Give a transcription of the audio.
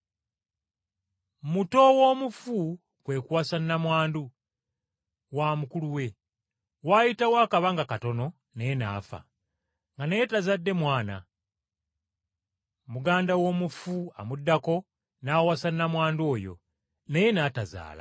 Muto w’omufu kwe kuwasa nnamwandu wa mukulu we, waayitawo akabanga katono naye n’afa, nga naye tazadde mwana. Muganda w’omufu amuddako n’awasa nnamwandu oyo, naye n’atazaala.